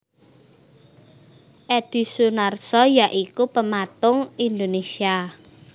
Edhi Sunarso ya iku pematung Indonésia